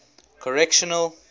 correctional